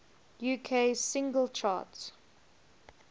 uk singles chart